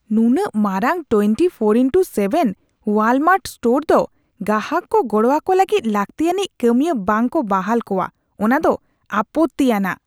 ᱱᱩᱱᱟᱹᱜ ᱢᱟᱨᱟᱝ ᱑᱔*᱗ ᱳᱣᱟᱞᱢᱟᱨᱴ ᱥᱴᱳᱨ ᱫᱚ ᱜᱟᱦᱟᱠ ᱠᱚ ᱜᱚᱲᱚ ᱟᱠᱚ ᱞᱟᱹᱜᱤᱫ ᱞᱟᱹᱠᱛᱤᱭᱟᱹᱱᱤᱡᱽ ᱠᱟᱹᱢᱤᱭᱟᱹ ᱵᱟᱝ ᱠᱚ ᱵᱟᱦᱟᱞ ᱠᱚᱣᱟ ᱚᱱᱟ ᱫᱚ ᱟᱯᱚᱛᱛᱤᱼᱟᱱᱟᱜ ᱾